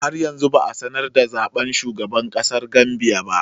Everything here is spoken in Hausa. Har yanzu ba a sanar da sakamakon zaɓen shugaban ƙasar Gambia ba.